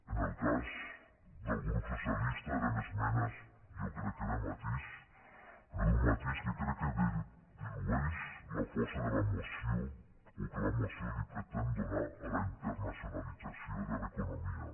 en el cas del grup socialista eren esmenes jo crec que de matís però d’un matís que crec que dilueix la força de la moció o que la moció pretén donar a la internacionalització de l’economia